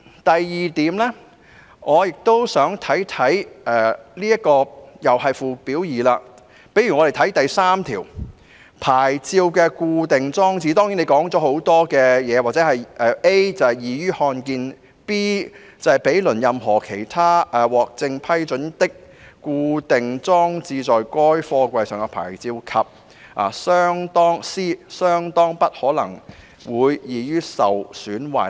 第二，同是附表2的第3條"牌照的固定裝設"訂明，安全合格牌照的裝設位置須使該牌照 "a 易於看得見 ；b 毗鄰任何其他獲正式批准的、固定裝設在該貨櫃上的牌照；以及 c 相當不可能會易於受損壞"。